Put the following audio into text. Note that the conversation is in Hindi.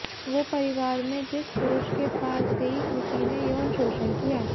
वो परिवार में जिस पुरुष के पास गई उसी ने यौन शोषण किया